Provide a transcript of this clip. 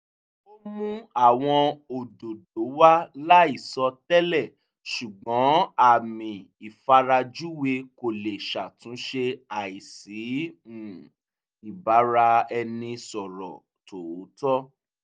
ó mú àwọn òdòdó wá láìsọ tẹ́lẹ̀ ṣùgbọ́n àmì ìfarajúwe kò lè ṣàtúnṣe àìsí um ìbáraẹnisọ̀rọ́ tòótọ́